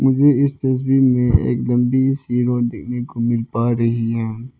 ये इस तस्वीर में एक गंदी सी रोड देखने को मिल पा रही है।